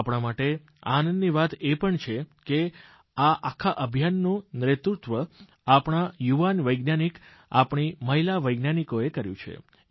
આપણા માટે આનંદની વાત એ પણ છે કે આ આખા અભિયાનનું નેતૃત્વ આપણા યુવાન વૈજ્ઞાનિક આપણી મહિલા વૈજ્ઞાનિકોએ કર્યું છે